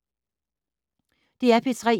DR P3